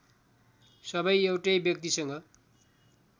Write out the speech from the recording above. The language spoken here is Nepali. सबै एउटै व्यक्तिसँग